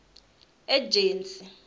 ejensi